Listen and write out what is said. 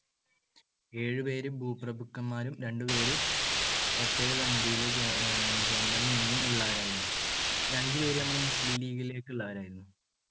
ഏഴുപേർ ഭൂപ്രഭുക്കന്മാരും രണ്ടുപേർ പ്രത്യേകസമിതിയിൽ നിന്നും ഉള്ളവരായിരുന്നു. പിന്നെ അഞ്ചുപേര് നമ്മൾ മുസ്ലീം ലീഗിലേക്ക് ഉള്ളവരായിരുന്നു.